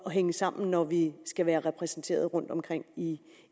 at hænge sammen når vi skal være repræsenteret rundtomkring i